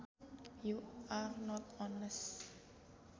You are not honest